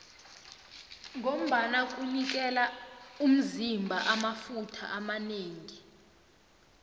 ngombana kunikela umzima amafutha amanengi